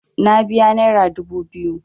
Na biya naira dubu biyu.